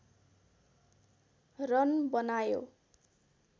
run बनायो